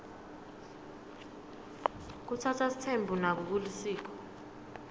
kutsatsa sitsembu nako kulisiko